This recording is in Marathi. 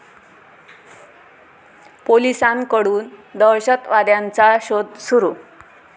पोलिसांकडून दहशतवाद्यांचा शोध सुरु